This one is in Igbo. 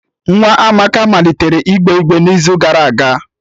Nwa Amaka malitere igbe igbere n'izu gara aga